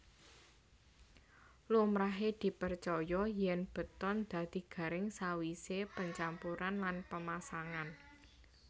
Lumrahe dipercaya yèn beton dadi garing sawisé pencampuran lan pamasangan